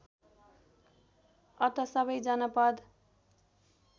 अत सबै जनपद